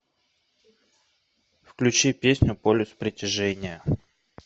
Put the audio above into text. включи песню полюс притяжения